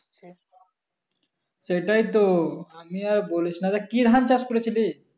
তো আমিও আর বলিস না তা কি ধান চাষ করেছিলিস